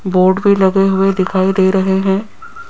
Board भी लगे हुए दिखाई दे रहे हैं।